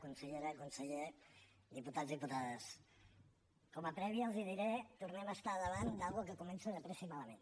consellera conseller diputats diputades com a prèvia els diré que tornem a estar davant d’una cosa que comença de pressa i malament